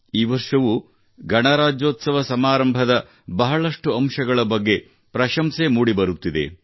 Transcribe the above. ಈ ವರ್ಷವೂ ಗಣರಾಜ್ಯೋತ್ಸವ ಸಮಾರಂಭದಲ್ಲಿ ಬಹಳಷ್ಟು ಅಂಶಗಳ ಬಗ್ಗೆ ಬಹಳಷ್ಟು ಪ್ರಶಂಸೆ ಮೂಡಿಬರುತ್ತಿದೆ